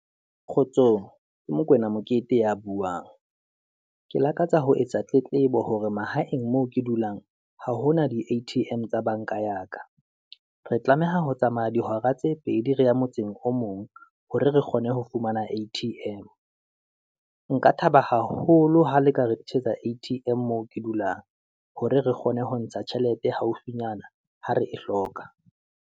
Kgotsong ke Mokoena Mokete ya buang, ke lakatsa ho etsa tletlebo hore mahaeng moo ke dulang ha hona di-A_T_M tsa banka ya ka. Re tlameha ho tsamaya dihora tse pedi re ya motseng o mong, hore re kgone ho fumana A_T_M. Nka thaba haholo ha le ka re A_T_M moo ke dulang, hore re kgone ho ntsha tjhelete haufinyana ha re e hloka.